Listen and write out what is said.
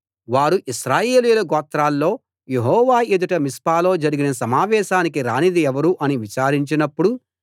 వారు ఇశ్రాయేలీయుల గోత్రాల్లో యెహోవా ఎదుట మిస్పాలో జరిగిన సమావేశానికి రానిది ఎవరు అని విచారించినప్పుడు